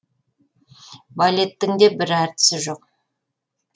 балеттің де бір әртісі жоқ